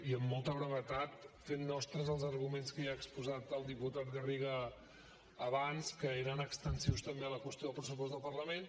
i amb molta brevetat fent nostres els arguments que ja ha exposat el diputat garriga abans que eren extensius també a la qüestió del pressupost del parlament